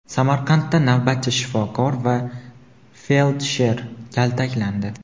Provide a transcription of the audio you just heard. Samarqandda navbatchi shifokor va feldsher kaltaklandi.